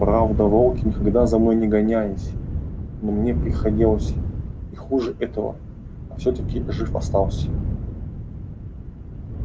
правда волки никогда за мной не гонялись но мне приходилось и хуже этого а всё-таки жив остался